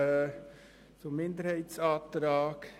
Zuerst zum Minderheitsantrag